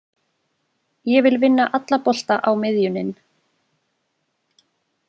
Ég vil vinna alla bolta á miðjunin.